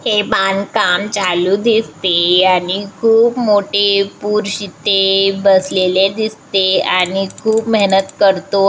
हे बांदकाम चालू दिसते आणि खूप मोट्टे पुरुष इथे बसलेले दिसते आणि खूप मेहनत करतो.